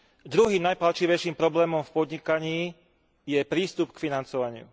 Druhým najpálčivejším problémom v podnikaní je prístup k financovaniu.